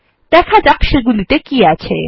দেখা যাক সেগুলিতে কী আছে